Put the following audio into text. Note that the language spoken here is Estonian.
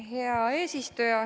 Hea eesistuja!